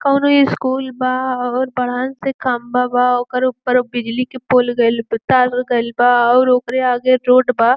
कउनो स्कूल बा और बड़हन सा खम्बा बा। ओकर ऊपर बिजली के पोल गयल बा तार गयल बा और ओकरे आगे रोड बा।